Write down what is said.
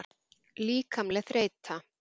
Líkamleg þreyta.